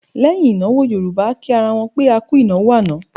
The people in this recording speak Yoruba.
Lẹ́yìn ìnáwó Yorùbá a kì ra wọn pé A kú ìnáwó àná.